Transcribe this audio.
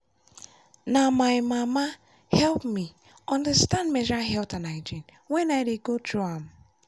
na my mama help me understand menstrual health and hygiene when i dey go through am.